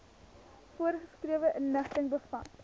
voorgeskrewe inligting bevat